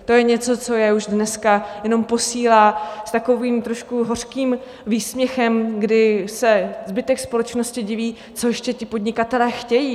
To je něco, co je už dneska jenom posílá s takovým trošku hořkým výsměchem, kdy se zbytek společnosti diví - co ještě ti podnikatelé chtějí.